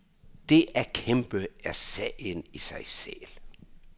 Det at kæmpe er sagen i sig selv.